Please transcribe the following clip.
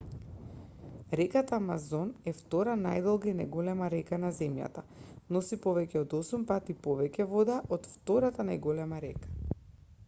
реката амазон е втора најдолга и најголема река на земјата носи повеќе од 8 пати повеќе вода од втората најголема река